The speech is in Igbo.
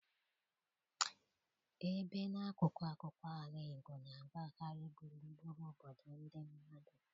ebe n'akụkụ akụkụ ala Igbo na-agbagharị gburugburu obodo ndị mmadụ.